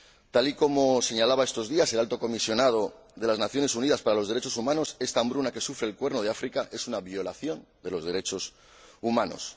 Tal y como señalaba estos días el Alto Comisionado de las Naciones Unidas para los Derechos Humanos, esta hambruna que sufre el Cuerno de África es una violación de los derechos humanos.